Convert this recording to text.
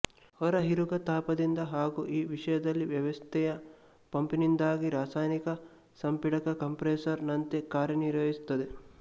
ಹೊರಹೀರುಗ ತಾಪದಿಂದ ಹಾಗು ಈ ವಿಷಯದಲ್ಲಿ ವ್ಯವಸ್ಥೆಯ ಪಂಪ್ನಿಂದಾಗಿ ರಾಸಾಯನಿಕ ಸಂಪೀಡಕಕಂಪ್ರೆಸರ್ ನಂತೆ ಕಾರ್ಯನಿರ್ವಹಿಸುತ್ತದೆ